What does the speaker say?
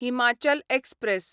Himachal express